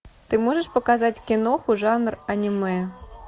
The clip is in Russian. ты можешь показать киноху жанр аниме